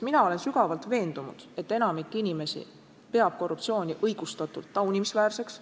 Mina olen sügavalt veendunud, et enamik inimesi peab korruptsiooni – õigustatult – taunimisväärseks.